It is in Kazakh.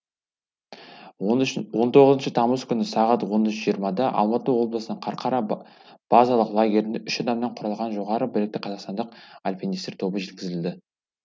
он тоғызыншы тамыз күні сағат он үш жиырмада алматы облысының қарқара базалық лагеріне үш адамнан құралған жоғарғы білікті қазақстандық альпинистер тобы жеткізілді